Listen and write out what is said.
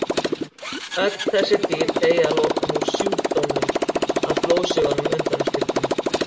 Öll þessi dýr deyja að lokum úr sjúkdómnum að blóðsugunum undanskildum.